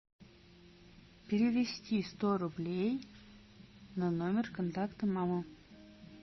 перевести сто рублей на номер контакта мама